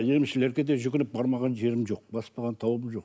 емшілерге де жүгініп бармаған жерім жоқ баспаған тауым жоқ